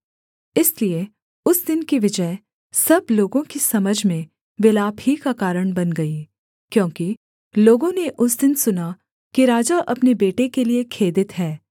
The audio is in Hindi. इसलिए उस दिन की विजय सब लोगों की समझ में विलाप ही का कारण बन गई क्योंकि लोगों ने उस दिन सुना कि राजा अपने बेटे के लिये खेदित है